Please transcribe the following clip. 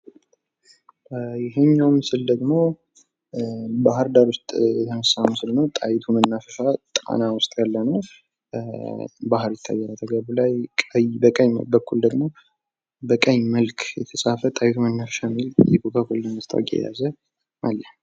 ይሄኛው ምስል ደግሞ ባህርዳር ውስጥ የተነሳ ምስል ነው። ጣይቱ መናፈሻ ጣና ውስጥ ያለ ነው። ባህር ይታያል ላዩላይ። በቀኝ በኩል ደግሞ በቀይ መልክ የተጻፈ ጣይቱ መናፈሻ የሚል የኮካኮላ ማስታወቂያ የያዘ አለ።